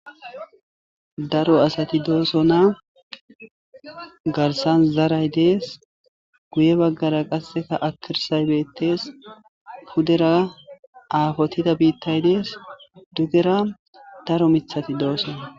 Daro asati dooso na garsan zaray dees guye baggara qasseka akirsay beettes pudera aafotida biittay dees dugera daro mithati doosona.